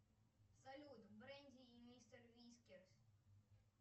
салют бренди и мистер вискерс